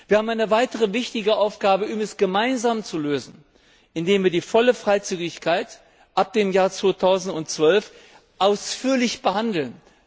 Wir haben eine weitere wichtige Aufgabe gemeinsam zu lösen, indem wir die volle Freizügigkeit ab dem Jahr 2012 ausführlich behandeln.